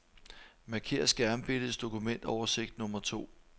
Marker skærmbilledets dokumentoversigt nummer to.